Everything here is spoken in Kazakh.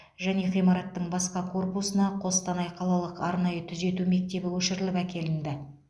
және ғимараттың басқа корпусына қостанай қалалық арнайы түзету мектебі көшіріліп әкелінді